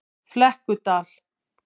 Flekkudal